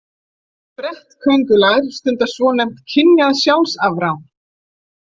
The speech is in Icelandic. Sprettköngulær stunda svonefnt kynjað sjálfsafrán.